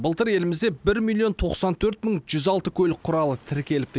былтыр елімізде бір миллион тоқсан төрт мың жүз алты көлік құралы тіркеліпті